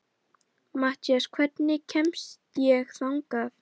Mathías, hvernig kemst ég þangað?